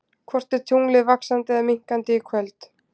Hvort er tunglið vaxandi eða minnkandi í kvöld?